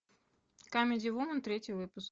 камеди вумен третий выпуск